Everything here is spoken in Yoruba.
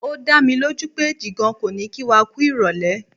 O dámilójú pé Jìgan kò ní kí wa kú ìrọ̀lẹ́.